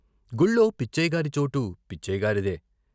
గుళ్ళో పిచ్చయ్యగారి చోటు పిచ్చయ్యగారిదే.